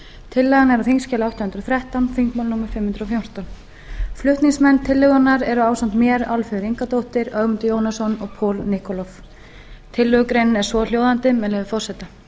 tillagan er á þingskjali átta hundruð og þrettán þingmál númer fimm hundruð og fjórtán flutningsmenn tillögunnar eru ásamt mér háttvirtir þingmenn álfheiður ingadóttir ögmundur jónasson paul nikolov tillögugreinin er svohljóðandi með leyfi forseta